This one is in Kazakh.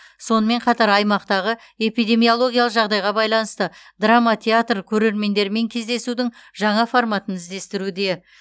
сонымен қатар аймақтағы эпидемиологиялық жағдайға байланысты драма театр көрермендермен кездесудің жаңа форматын іздестіруде